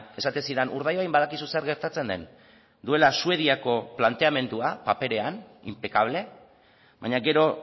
esaten zidan urdaibain badakizu zer gertatzen den duela suediako planteamendua paperean impecable baina gero